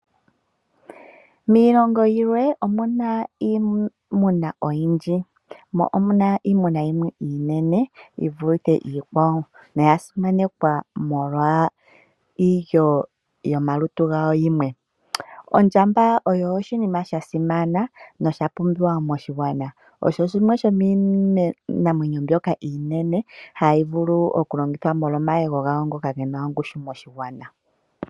Miilongo yilwe omu na iimuna oyindji, mo omu na iimuna yimwe iinene yi vule iikwawo noya simanekwa molwa iilyo yomalutu gawo yimwe. Ondjamba oyo oshinima sha simana nosha pumbiwa moshigwana. Osho shimwe shomiinamwenyo mbyoka iinene hayi vulu okulongithwa molwa omayego gawo ngoka ge na ongushu moshigwana.